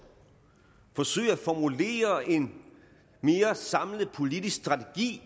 forsøge at formulere en mere samlet politisk strategi